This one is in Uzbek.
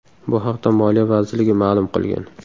Bu haqda Moliya vazirligi ma’lum qilgan .